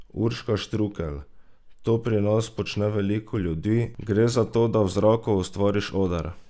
Urška Štrukelj: "To pri nas počne veliko ljudi, gre za to, da v zraku ustvariš oder.